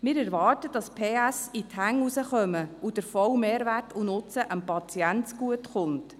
Wir erwarten, dass die «PS» in die Hände herauskommen und der volle Mehrwert sowie der Nutzen dem Patienten zugutekommen.